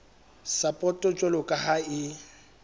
sapoto jwalo ka ha e